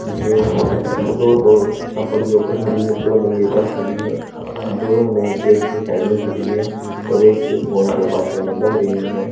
जो दो दो टप्पड़ के ऊपर खड़ी है दो नंगे पैर खड़ी हैं दोनों ने गेट के साइड में खड़ी हैं और एक फोन पे बात करने लग रही हैं।